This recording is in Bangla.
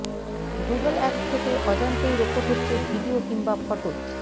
গুগল অ্যাপস থেকে অজান্তেই রেকর্ড হচ্ছে ভিডিও কিংবা ফটো